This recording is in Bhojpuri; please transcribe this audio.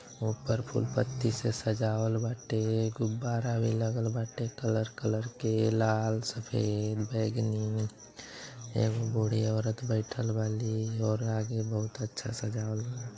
ऊपर फूल-पत्ती से सजावल बाटे गुब्बारा भी लगल बाटे कलर -कलर के लाल सफ़ेद बैगनी एगो बुढ़ी औरत बइठल बाली और आगे बहुत अच्छा सजावल बा।